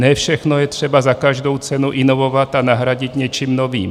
Ne všechno je třeba za každou cenu inovovat a nahradit něčím novým.